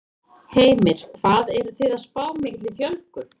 Heimir: Hvað eruð þið að spá mikilli fjölgun?